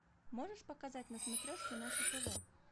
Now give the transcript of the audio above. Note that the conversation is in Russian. можешь показать на смотрешке наше тв